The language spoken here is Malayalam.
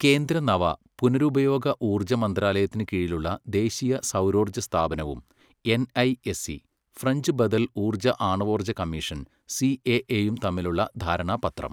കേന്ദ്ര നവ, പുനരുപയോഗ ഊർജ്ജ മന്ത്രാലയത്തിന് കീഴിലുള്ള ദേശീയ സൗരോർജ്ജ സ്ഥാപനവും എൻഐഎസ്ഇ, ഫ്രഞ്ച് ബദൽ ഊർജ്ജ, ആണാവോർജ്ജ കമ്മീഷൻ സിഎഎയും തമ്മിലുള്ള ധാരണാപത്രം.